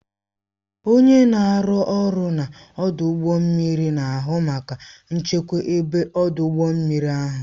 Onye na-arụ ọrụ n'ọdụ ụgbọ mmiri na-ahụ maka nchekwa ebe ọdụ ụgbọ mmiri ahụ